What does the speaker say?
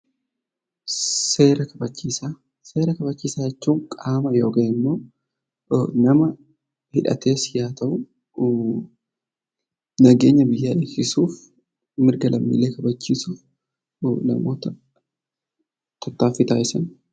Seera kabachiisaa jechuun qaama yookaan immoo nama hidhates haa ta'u, nageenya biyyaa eegsisuuf mirga lammiilee kabachiisuuf namoota tarkaanfii taasisanidha.